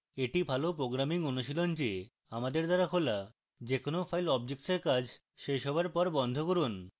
এটি ভালো programming অনুশীলন যে আমাদের দ্বারা খোলা যে কোনো file objects এর কাজ শেষ হওয়ার পর বন্ধ করুন